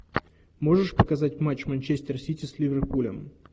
можешь показать матч манчестер сити с ливерпулем